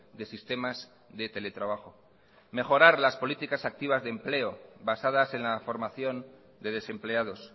de sistemas de teletrabajo mejorar las políticas activas de empleo basadas en la formación de desempleados